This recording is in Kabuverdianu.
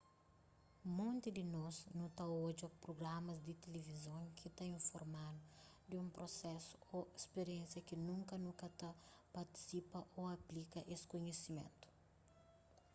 monti di nos nu ta odja prugramas di tilivizon ki ta informa-nu di un prosesu ô spiriénsia ki nunka nu ka ta partisipa ô aplika es kunhisimentu